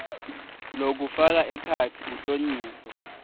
lokufaka ekhatsi kuhlonyiswa